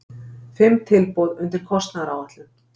Fimm tilboð undir kostnaðaráætlun